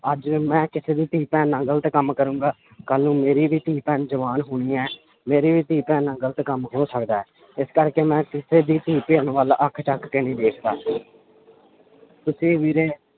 ਅੱਜ ਮੈਂ ਕਿਸੇ ਦੀ ਧੀ ਭੈਣ ਨਾਲ ਗ਼ਲਤ ਕੰਮ ਕਰਾਂਗਾ ਕੱਲ੍ਹ ਨੂੰ ਮੇਰੀ ਧੀ ਭੈਣ ਜਵਾਨ ਹੋਣੀ ਹੈ ਮੇਰੀ ਵੀ ਧੀ ਭੈਣ ਨਾਲ ਗ਼ਲਤ ਕੰਮ ਹੋ ਸਕਦਾ ਹੈ ਇਸ ਕਰਕੇ ਮੈਂ ਕਿਸੇੇ ਦੀ ਧੀ ਭੈਣ ਵੱਲ ਅੱਖ ਚੁੱਕ ਕੇ ਨਹੀਂ ਦੇਖਦਾ ਤੁਸੀਂ ਵੀਰੇ